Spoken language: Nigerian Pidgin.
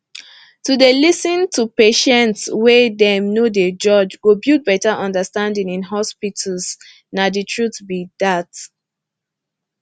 to dey lis ten to patients wey dem no dey judge go build better understanding in hospitals nah the truth be dat